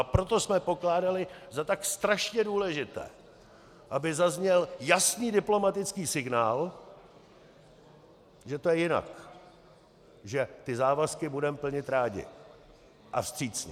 A proto jsme pokládali za tak strašně důležité, aby zazněl jasný diplomatický signál, že to je jinak, že ty závazky budeme plnit rádi a vstřícně.